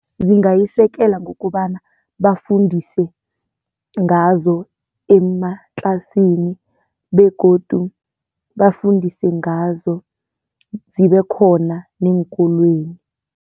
Zingayisekela ngokobana bafundise ngazo ematlasini begodu bafundise ngazo, zibe khona neenkolweni.